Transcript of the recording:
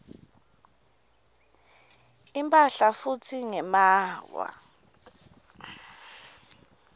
imphahla futsi ngemaawa